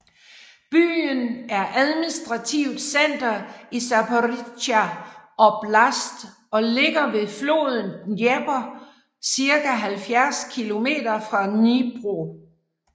Byen er administrativt center i Zaporizjzja oblast og ligger ved floden Dnepr cirka 70 kilometer fra Dnipro